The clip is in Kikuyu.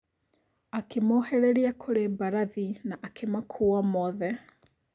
Akĩmohereria kũrĩ mbarathi na akĩmakuua mothe.